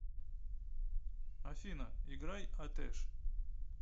афина играй атеш